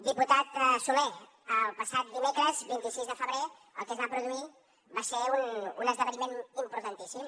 diputat solé el passat dimecres vint sis de febrer el que es va produir va ser un esdeveniment importantíssim